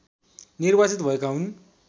निर्वार्चित भएका हुन्